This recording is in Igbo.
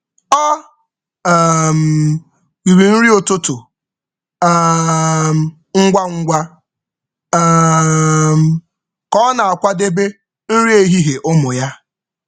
Ọ riri nri ụtụtụ ngwa ngwa ka ọ ọ na-akwadebe nri ehihie ụmụ ya.